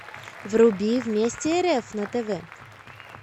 вруби вместе рф на тв